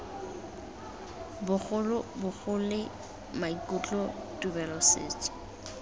bogolo bogole maikutlo tumelo setso